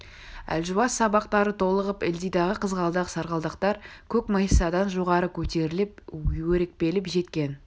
әлжуаз сабақтары толығып ылдидағы қызғалдақ сарғалдақтар көк майсадан жоғары көтеріліп өрекпіп жеткен